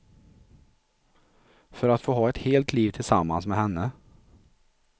För att få ha ett helt liv tillsammans med henne.